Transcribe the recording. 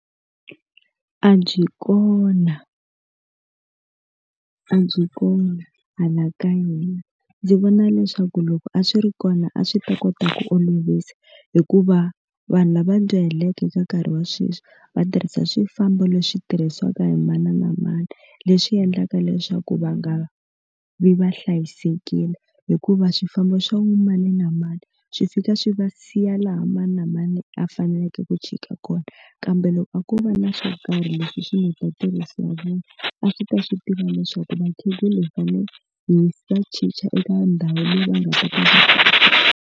A byi kona a byi kona hala ka yona ndzi vona leswaku loko a swi ri kona a swi ta kota ku olovisa hikuva vanhu lava dyahaleke eka nkarhi wa sweswi va tirhisa swifambo leswi tirhisiwaka hi mani na mani leswi endlaka leswaku va nga vi va hlayisekile hikuva swifambo swa mani na mani swi fika swi va siya laha mani na mani a faneleke ku chika kona kambe loko a ko va na swo karhi leswi swi heta ntirhiso ra vona a swi ta swi tiva leswaku vakhegula hi fanele hi va chicha eka ndhawu leyi va nga ta ka.